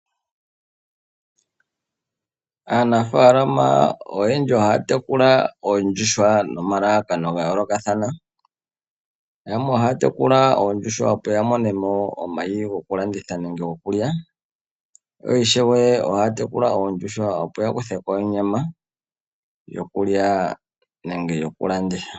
Aanafaalama oyendji ohaya tekula oondjuhwa nomalalakano ga yoolokathana. Yamwe ohaya tekula oondjuhwa opo ya mone mo omayi goku landitha nenge gokulya, yo ishewe ohaya tekula oondjuhwa, opo ya kuthe ko onyama yokulya nenge yoku landitha.